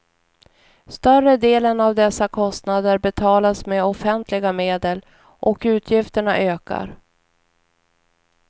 Större delen av dessa kostnader betalas med offentliga medel, och utgifterna ökar.